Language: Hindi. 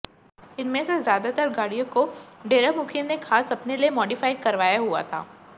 इनमें से ज्यादातर गाड़ियों को डेरा मुखी ने खास अपने लिए मॉडिफाइड करवाया हुआ था